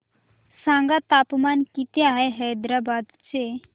सांगा तापमान किती आहे हैदराबाद चे